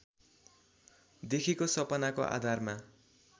देखेको सपनाको आधारमा